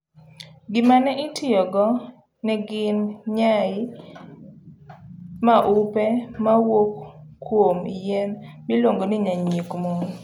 Gima ne itiyogo ne gin nyai maupe mowuok kuom yien miluongonyanyiek mon.